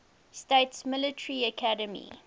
states military academy